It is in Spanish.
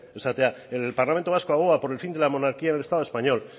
zera el parlamento vasco aboga por el fin de la monarquía del estado español